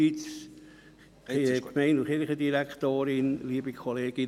Fritz Ruchti, Sie haben das Wort.